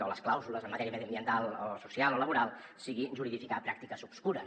o les clàusules en matèria mediambiental o social o laboral sigui juridificar pràctiques obscures